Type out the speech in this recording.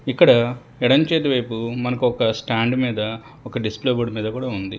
ఇక్కడ ఎడమ చేతి వైపు మనకొక స్టాండ్ మీద ఒక డిస్ప్లే బోర్డు కూడా ఉంది.